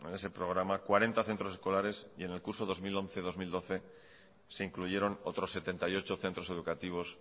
en ese programa cuarenta centros escolares y en el curso dos mil once dos mil doce se incluyeron otros setenta y ocho centros educativos